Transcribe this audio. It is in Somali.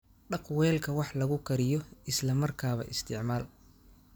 Dhaq weelka wax lagu kariyo isla markaaba isticmaal.